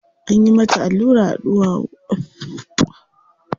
Anyi mata allura a ɗuwawu.